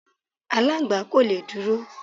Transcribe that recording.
Aláǹgbá kò le dúró.